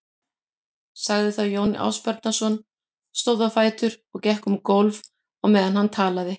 sagði þá Jón Ásbjarnarson, stóð á fætur og gekk um gólf á meðan hann talaði